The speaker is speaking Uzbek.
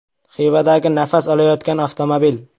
Xivadagi “nafas olayotgan” avtomobil.